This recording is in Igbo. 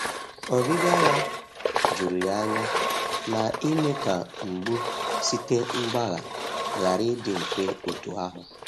Ọbịbịa ya jụrụ ya anya, ma ime ka mgbu site mgbagha ghara ịdị mfe otu ahụ.